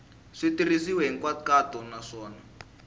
swi tirhisiwile hi nkhaqato naswona